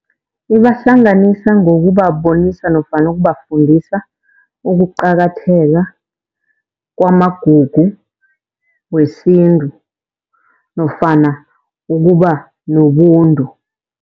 Ibahlanganisa ngokubabonisa nofana ukubafundisa ukuqakatheka kwamagugu wesintu nofana ukuba nobuntu.